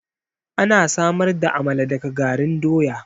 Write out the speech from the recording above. Ana samar da amala daga garin doya